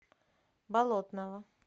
болотного